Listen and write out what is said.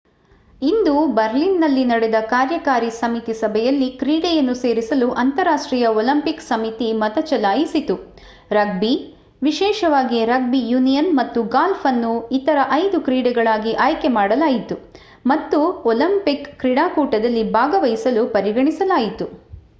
ಇಂದು ಬರ್ಲಿನ್‌ನಲ್ಲಿ ನಡೆದ ಕಾರ್ಯಕಾರಿ ಸಮಿತಿ ಸಭೆಯಲ್ಲಿ ಕ್ರೀಡೆಯನ್ನು ಸೇರಿಸಲು ಅಂತರರಾಷ್ಟ್ರೀಯ ಒಲಿಂಪಿಕ್ ಸಮಿತಿ ಮತ ಚಲಾಯಿಸಿತು. ರಗ್ಬಿ ವಿಶೇಷವಾಗಿ ರಗ್ಬಿ ಯೂನಿಯನ್ ಮತ್ತು ಗಾಲ್ಫ್ ಅನ್ನು ಇತರ ಐದು ಕ್ರೀಡೆಗಳಾಗಿ ಆಯ್ಕೆ ಮಾಡಲಾಯಿತು ಮತ್ತು ಒಲಿಂಪಿಕ್ ಕ್ರೀಡಾಕೂಟದಲ್ಲಿ ಭಾಗವಹಿಸಲು ಪರಿಗಣಿಸಲಾಯಿತು